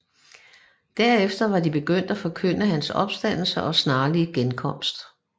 Derefter var de begyndt at forkynde hans opstandelse og snarlige genkomst